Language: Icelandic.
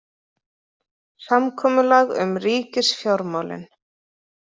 Samkomulag um ríkisfjármálin